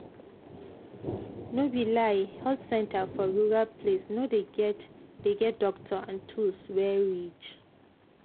no be lie health center for rural place no dey get dey get doctor and tools wey reach.